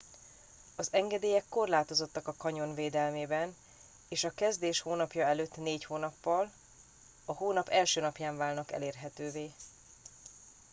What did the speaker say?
az engedélyek korlátozottak a kanyon védelmében és a a kezdés hónapja előtt 4 hónappal a hónap 1. napján válnak elérhetővé